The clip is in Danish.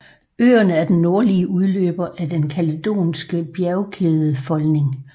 Øerne er den nordlige udløber af den kaledonske bjergkædefolding